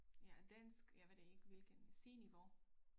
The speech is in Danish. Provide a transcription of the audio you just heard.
Ja af dansk jeg ved det ikke hvilken c-niveau